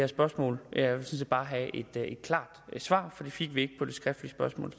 spørgsmål jeg vil sådan set bare have et klart svar for det fik vi ikke på det skriftlige spørgsmål